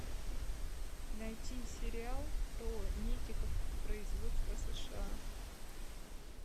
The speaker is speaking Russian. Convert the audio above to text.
найти сериал про медиков производство сша